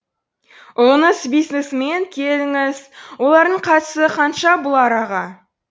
ұлыңыз бизнесмен келіңіз олардың қатысы қанша бұл араға